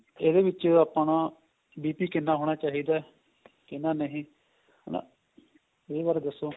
ਇਹਦੇ ਵਿੱਚ ਆਪਣਾ BP ਕਿੰਨਾ ਹੋਣਾ ਚਾਹੀਦਾ ਕਿੰਨਾ ਨਹੀਂ ਹਨਾ ਇਹਦੇ ਬਾਰੇ ਦੱਸੋ